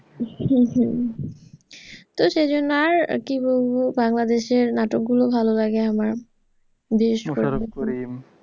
হম তো সেইজন্য আর কি বলবো বাংলাদেশের নাটক গুলো ভালো লাগে আমার বেশ ভালো লাগে। মুশারফ করিম,